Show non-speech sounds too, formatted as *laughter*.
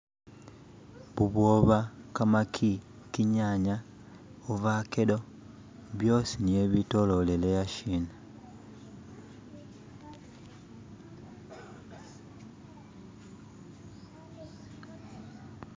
"*skip*" bubwoba kamaki kinyanya ovacado byosi nibyo bitololele ahashina "*skip*".